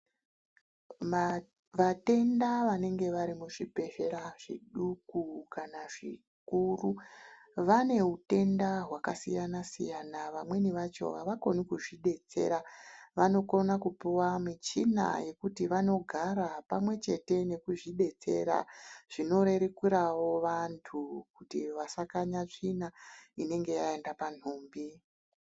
Vatenda vanenge varimuzvibhedhlera zviduku kana zvikuru vane utenda hwakasiyana-siyana. Vamweni vacho avakoni kuzvidetsera, vanokona kupuwa muchina yekuti vanogara pamwechete nekuzvidetsera zvinorerukirawo vanhu kuti vasakanya tsvina inenge yaenda panhumbi.